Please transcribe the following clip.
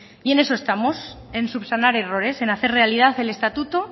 y en eso estamos en subsanar errores en hacer realidad el estatuto